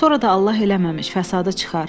Sonra da Allah eləməmiş fəsadı çıxar.